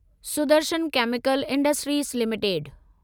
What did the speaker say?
Sudarshan chemical industries limited